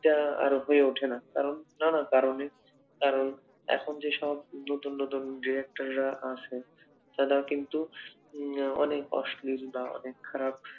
সেটা আর হয়ে ওঠে না কারণ কি কারণ এখন নতুন নতুন Director রা আছে তারা কিন্তু অনেক অশ্লীল বা অনেক খারাপ